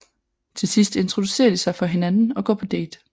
Til sidst introducerer de sig for hinanden og går på date